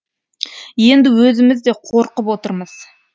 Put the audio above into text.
енді өзіміз де қорқып отырмыз